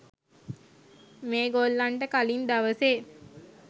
මේ ගොල්ලන්ට කලින් දවසේ